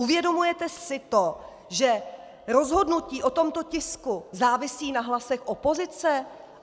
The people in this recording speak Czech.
Uvědomujete si to, že rozhodnutí o tomto tisku závisí na hlasech opozice?